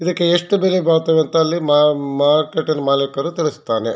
ಇದಕ್ಕೆ ಎಷ್ಟು ಬೆಲೆ ಬಾಳ್ತವೆ ಅಂತ ಅಲ್ಲಿ ಮಾ ಮಾರ್ಕೆಟ್ ಅಲ್ಲಿ ಮಾಲೀಕರು ತಿಳಿಸುತ್ತಾರೆ.